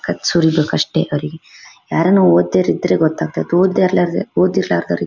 ಕಚ್ ಸುರಿಬೇಕು ಅಷ್ಟೇ ಅವರಿಗೆ ಯಾರುನ್ನು ಒದ್ದೋವರು ಇದ್ರೆ ಗೊತ್ತಾಗ್ತಿತ್ತು ಓದ್ದೆ ಇರಲಾರ್ದೆ ಓದಿರಲಾರ್ದೆ ಇದ್ರೆ--